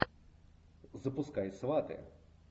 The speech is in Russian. запускай сваты